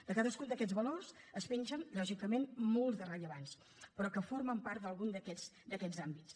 de cadascun d’aquests valors en pengen lògicament molts de rellevants però que formen part d’algun d’aquests àmbits